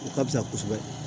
O ka fisa kosɛbɛ